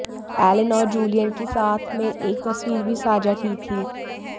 Allen और Julian की साथ में एक तस्वीर भी साझा की थी